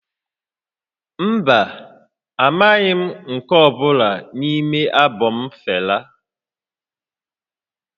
Mba, amaghị m nke ọ bụla n'ime albọm Fela